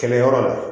Kɛlɛ yɔrɔ la